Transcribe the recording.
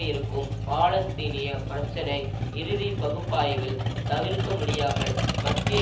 இருக்கும் பாலஸ்தீனிய பிரச்சினை இறுதி பகுப்பாய்வில் தவிர்க்க முடியாமல் மத்திய